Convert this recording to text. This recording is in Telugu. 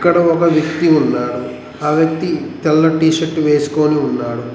ఇక్కడ ఒక వ్యక్తి ఉన్నాడు ఆ వ్యక్తి తెల్ల టీషర్ట్ వేసుకొని ఉన్నాడు.